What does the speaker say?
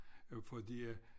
Øh fordi at